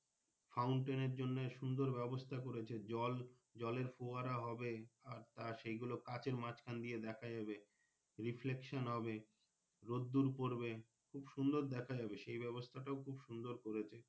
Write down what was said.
Fountain এর জন্য সুন্দর ব্যবস্থা করেছে জল জলের Fountain হবে আর তার কাঁচের মাঝখান দিয়ে দেখা যাবে Reception হবে রোদুর পড়বে খুব সুন্দর দেখা যাবে সেই ব্যাবস্থাটা খুব সুন্দর করেছে।